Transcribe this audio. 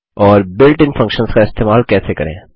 और built in functions का इस्तेमाल कैसे करें